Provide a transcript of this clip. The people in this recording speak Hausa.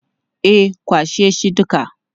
E, kwashe shi duka.